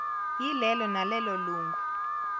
yilelo nalelo lungu